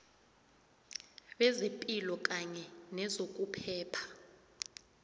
bezepilo kanye nezokuphepha